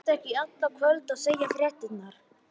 Vertu ekki í allt kvöld að segja fréttirnar.